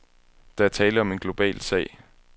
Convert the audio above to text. Der er tale om en global sag.